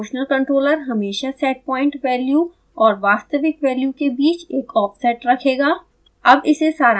एक proportional controller हमेशा setpoint value और वास्तविक वैल्यू के बीच एक offset रखेगा